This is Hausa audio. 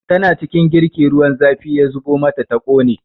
Tana cikin girki ruwan zafi ya zubo mata ta ƙone